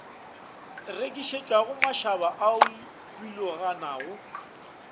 rekišetšwago mašaba a a biloganago